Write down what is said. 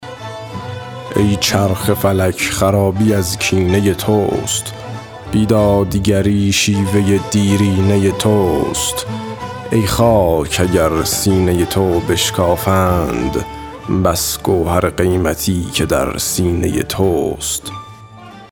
ای چرخ فلک خرابی از کینه توست بی دادگری شیوه دیرینه توست ای خاک اگر سینه تو بشکافند بس گوهر قیمتی که در سینه توست